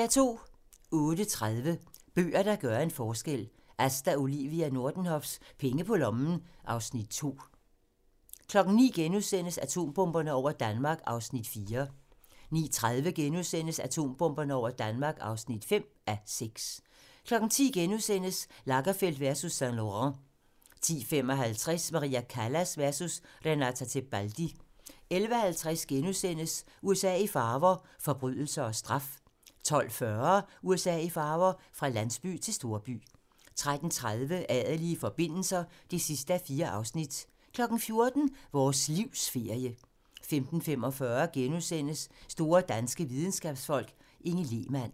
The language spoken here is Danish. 08:30: Bøger, der gør en forskel - Asta Olivia Nordenhofs "Penge på lommen" (Afs. 2) 09:00: Atombomberne over Danmark (4:6)* 09:30: Atombomberne over Danmark (5:6)* 10:00: Lagerfeld versus Saint-Laurent * 10:55: Maria Callas versus Renata Tebaldi 11:50: USA i farver - forbrydelser og straf * 12:40: USA i farver - fra landsby til storby 13:30: Adelige forbindelser (4:4) 14:00: Vores livs ferie 15:45: Store danske videnskabsfolk: Inge Lehmann *